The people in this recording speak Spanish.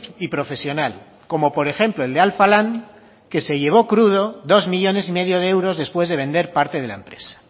y profesional como por ejemplo el de alfa lan que se llevó crudo dos millónes y medio de euros después de vender parte de la empresa